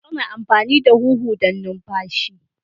Ana amfani da huhu don numfashi.